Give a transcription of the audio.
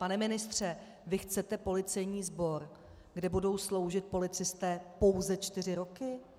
Pane ministře, vy chcete policejní sbor, kde budou sloužit policisté pouze čtyři roky?